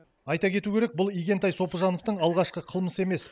айта кету керек бұл игентай сопыжановтың алғашқы қылмысы емес